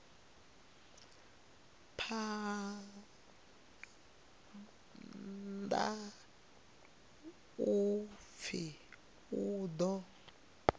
phanḓa u pfi u ḓo